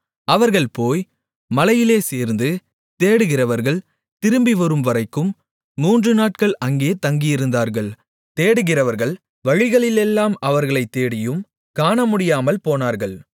அவர்கள் போய் மலையிலே சேர்ந்து தேடுகிறவர்கள் திரும்பிவரும்வரைக்கும் மூன்றுநாட்கள் அங்கே தங்கியிருந்தார்கள் தேடுகிறவர்கள் வழிகளிலெல்லாம் அவர்களைத் தேடியும் காணமுடியாமல்போனார்கள்